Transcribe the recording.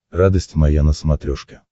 радость моя на смотрешке